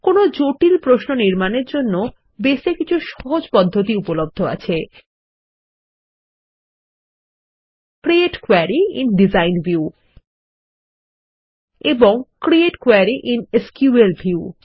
কোনো জটিল প্রশ্ন নির্মাণের জন্য বেস এ কিছু সহজ পদ্ধতি উপলব্ধ আছে160 create query in design view এবং create query in SQL view